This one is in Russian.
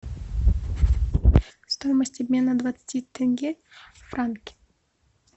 стоимость обмена двадцати тенге в франки